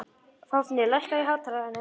Fáfnir, lækkaðu í hátalaranum.